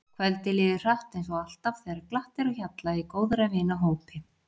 Kvöldið líður hratt eins og alltaf þegar glatt er á hjalla í góðra vina hópi.